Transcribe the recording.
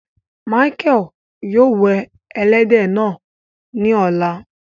Mícheal yóò wẹ èlẹdẹ náà ni ọ̀lá